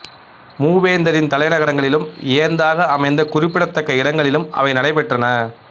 மூவேந்தரின் தலைநகரங்களிலும் ஏந்தாக அமைந்த குறிப்பிடத்தக்க இடங்களிலும் அவை நடைபெற்றன